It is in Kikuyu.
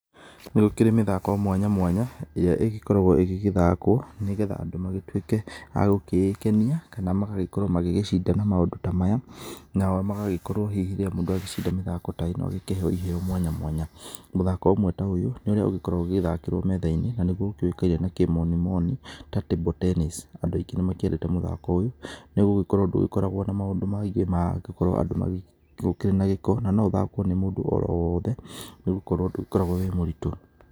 Nĩgũkĩrĩ mĩthako mwanya mwanya, ĩrĩa ĩgĩkoragũo ĩgĩgĩthakwo, nĩgetha andũ magĩtuĩke agũkĩĩkenia, kana magagĩkorũo magĩgĩcinda maũndũ ta maya, nao magagĩkorũo hihi rĩrĩa mũndũ agĩcinda mĩthako ta ĩno agĩkĩheo iheo mwanya mwanya. Mũthako ũmwe ta ũyũ, nĩũrĩa ũgĩkoragũo ũgĩthakĩrũo methainĩ, nanĩguo ũkĩũĩkaine na kĩmonimoni, ta table tennis. Andũ aingĩ nĩmakĩendete mũthako ũyũ, nĩgũgĩkorũo ndũkoragũo na maũndũ maingĩ ma andu gũkorũo magĩgĩ, gũkĩrĩ na gĩko, na noũthakwo nĩ mũndũ orowothe, nĩgũkorũo atĩ ndũkoragũo wĩ mũritũ.